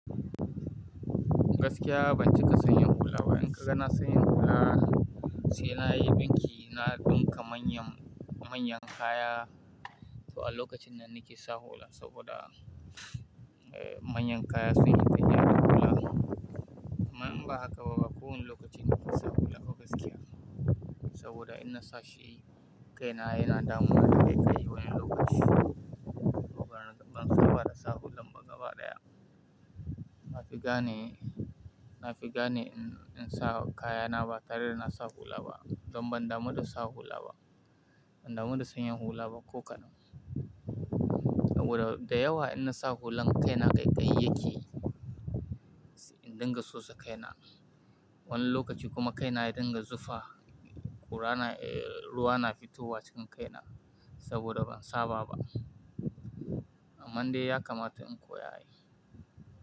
Gaskiya ban cika sanya hula ba. In ka ga na sanya hula, sai na yi ɗinki na ɗinka manyan, manyan kaya. To a lokacin nan nake sa hula saboda, eh, manyan kaya sun yi fyaɗe da hula. Amma ban ba haka ba, ba kowane lokaci na fi sa hula ba gaskiya. Saboda in na sashi kaina yana damuwa da ƙaiƙayi wani lokaci. Saboda ban saba da sa hullan ba gaba ɗaya. Na fi gane, na fi gane in, in sa kayana ba, tare da na sa hula ba. Don ban damu da sa hula ba. Ban damu da sayan hula ba ko kaɗan. Saboda da yawa in na sa hulan kaina ƙaiƙayi yake. In dinga sosa kaina. Wani lokaci kuma kaina ya dinga zufa. Kura na, eh, ruwa na fitowa cikin kaina saboda ban saba ba. Amman dai ya kamata in koya.